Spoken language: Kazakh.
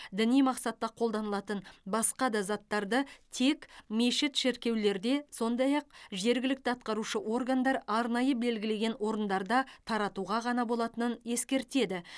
діни мақсатта қолданылатын басқа да заттарды тек мешіт шіркеулерде сондай ақ жергілікті атқарушы органдар арнайы белгілеген орындарда таратуға ғана болатынын ескертеді